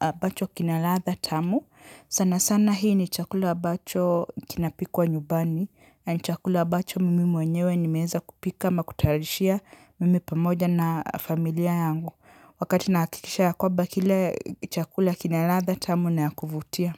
abacho kina ladha tamu. Sana sana hii ni chakula abacho kinapikwa nyumbani. Ni chakula abacho mimi mwenyewe nimeweza kupika ama kutayarishia mimi pamoja na familia yangu. Wakati nahikikisha ya kwamba kile chakula kina ladha tamu na ya kuvutia.